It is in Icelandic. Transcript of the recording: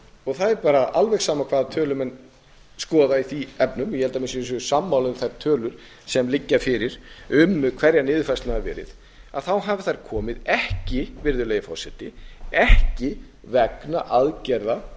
og það er alveg sama hvaða tölur menn skoða í þeim efnum ég held að menn séu sammála um þær tölur sem liggja fyrir um hverjar niðurfærslurnar hafa verið þá hafi þær komið ekki vegna aðgerða